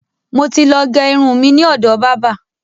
Mo ti ló gé irun mi ni ọ̀dọ̀ bábà.